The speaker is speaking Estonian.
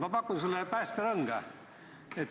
Ma pakun sulle päästerõnga.